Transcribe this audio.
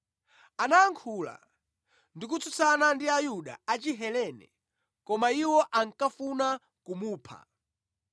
Anayankhula ndi kutsutsana ndi Ayuda a Chihelene, koma iwo ankafuna kumupha.